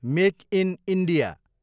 make in India